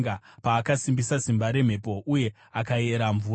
Paakasimbisa simba remhepo uye akayera mvura,